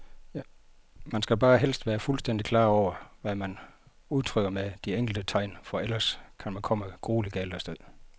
Man skal bare helst være fuldstændigt klar over, hvad man udtrykker med de enkelte tegn, for ellers kan man komme grueligt galt af sted.